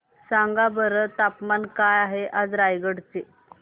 सांगा बरं तापमान काय आहे रायगडा चे